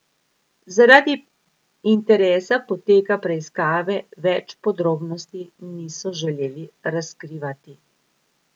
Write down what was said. Zaradi interesa poteka preiskave več podrobnosti niso želeli razkrivati.